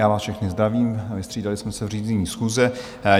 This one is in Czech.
Já vás všechny zdravím, vystřídali jsme se v řízení schůze.